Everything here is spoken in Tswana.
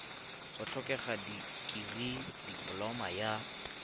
go tlhokega dikirii dipoloma ya